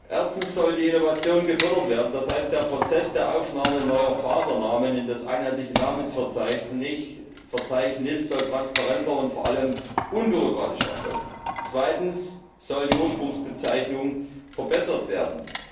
Erstens soll die Innovation gefördert werden. Das heißt, der Prozess der Aufnahme neuer Fasernamen in das einheitliche Namensverzeichnis soll transparenter und vor allem unbürokratischer erfolgen. Zweitens soll die Ursprungsbezeichnung verbessert werden.